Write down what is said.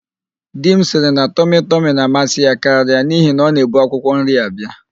Di m sịrị na tọmịtọmị na-amasị ya karịa n'ihi na ọ na-ebu akwụkwọnri abịa.